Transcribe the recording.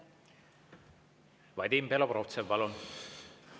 Vadim Belobrovtsev, palun!